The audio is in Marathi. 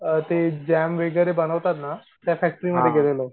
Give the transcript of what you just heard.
ते जॅम वगैरे बनवता ना त्या फॅक्टरीमध्ये गेलेलो.